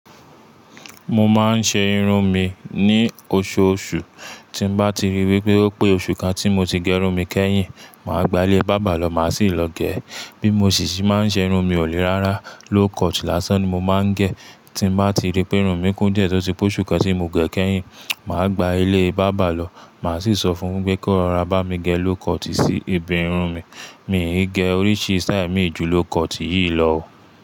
Mo máa ń ṣe irun mi ní oṣooṣù. Tí bá ti rí wípé ó pé oṣù kan tí mo ti gẹ̀run mi kẹ́yìn, màá gba ilé bábà lọ, màá sì lọ gé. Bí mo sì sì máa ń ṣe irun mi, ò lérárá low cut lásán ni mo máa ń gẹ̀. Tí bá ti rí pé irun mi kún díẹ̀ tó ti pé oṣù kan tí mo gẹ̀ kẹ́yìn, màá gba ilé bábà lọ, màá sì sọ fún un pé kó rọra bá mi gẹ low cut sí ibi irun mi. Mi ń gẹ oríṣi sítáì mì jù low cut yìí lọ o.